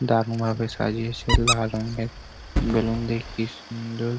দারুন ভাবে সাজিয়েছে লাল রঙের বেলুন দিয়ে কি সুন্দর।